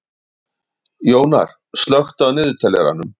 Jónar, slökktu á niðurteljaranum.